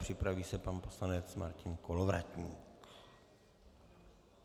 Připraví se pan poslanec Martin Kolovratník.